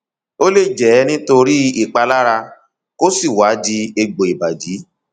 ó lè jẹ nítorí ìpalára kó sì wá di egbò ìbàdí